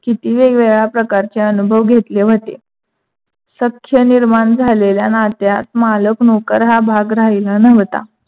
किती वेगवेगळ्या प्रकारचे अनुभव घेतले होते? सख्य निर्माण झालेल्या नात्यात मालक नौकर हा भाग राहीला नव्हता.